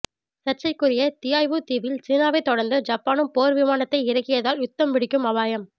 சர்ச்சைக்குரிய தியாவ்யூ தீவில் சீனாவை தொடர்ந்து ஜப்பானும் போர் விமானத்தை இறக்கியதால் யுத்தம் வெடிக்கும் அபாயம்